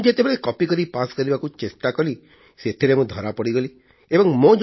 ମୁଁ ଯେତେବେଳେ କପିକରି ପାସ୍ କରିବାକୁ ଚେଷ୍ଟା କଲି ସେଥିରେ ମୁଁ ଧରା ପଡ଼ିଗଲି ଏବଂ ମୋ